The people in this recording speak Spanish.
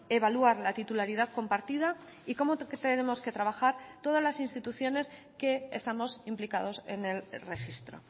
evaluar la titularidad compartida y cómo tenemos que trabajar todas las instituciones que estamos implicados en el registro